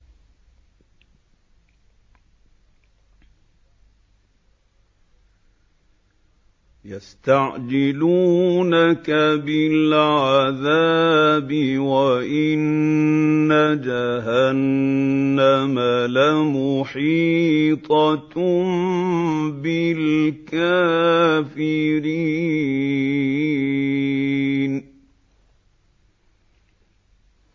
يَسْتَعْجِلُونَكَ بِالْعَذَابِ وَإِنَّ جَهَنَّمَ لَمُحِيطَةٌ بِالْكَافِرِينَ